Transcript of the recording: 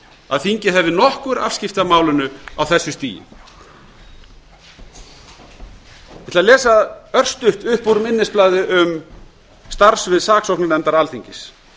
að þingið hefði nokkur afskipti af málinu á þessu stigi ég ætla að lesa örstutt upp úr minnisblaði um starfssvið saksóknarnefndar alþingis